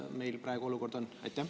Milline meie olukord praegu on?